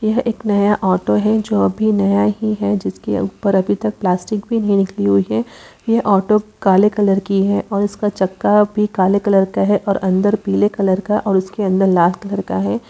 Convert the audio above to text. यह एक नया ऑटो है जो कि अभी नया ही है जिसके ऊपर अभी तक प्लास्टिक भी नहीं निकली है यह ऑटो काले कलर की है इसका छक्का भी काले कलर का है अंदर पीले कलर का है और उसके अंदर लाल कलर का है।